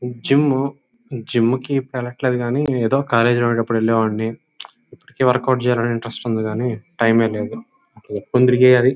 gym gym కి ఇప్పుడు వెళ్లట్లేదు కానీ ఏదో కాలేజీ లో ఉన్నప్పుడు వెళ్ళేవాడిని ఇప్పిటికి వర్క్ అవుట్ చేయాలని ఇంట్రస్ట్ ఉంది కానీ టైం ఏ లేదు --